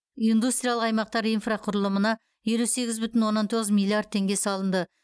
индустриялық аймақтар инфрақұрылымына елу сегіз бүтін оннан тоғыз миллиард теңге салынды